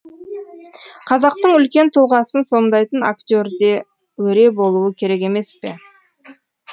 қазақтың үлкен тұлғасын сомдайтын актерде өре болуы керек емес пе